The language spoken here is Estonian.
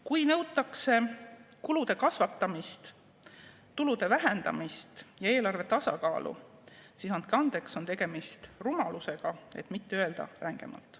Kui nõutakse kulude kasvatamist, tulude vähendamist ja eelarve tasakaalu, siis andke andeks, on tegemist rumalusega, et mitte öelda rängemalt.